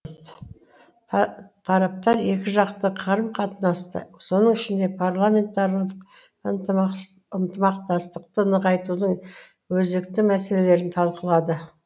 тараптар екіжақты қарым қатынасты соның ішінде парламентаралық ынтымақтастықты нығайтудың өзекті мәселелерін талқылады